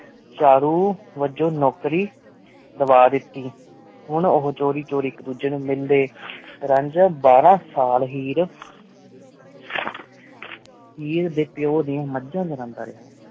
ਚਾਉ ਵਲੂੰ ਨੁਕਾਰੀ ਦਵਾ ਦੇਤੀ ਹੁਣ ਉਹੁ ਛੁਰੀ ਛੁਰੀ ਏਕ ਜੋਜ੍ਯ ਨੂ ਮਿਲਦੀ ਰੰਜਨ ਬਾਰਾ ਸਾਲ ਹੇਅਰ ਹੇਅਰ ਡੀ ਪੀਯੁ ਦਾਨ ਮਜਨ ਚੰਦਾ ਰਿਹਾ